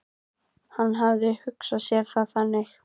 Hann hafði hugsað sér það þannig.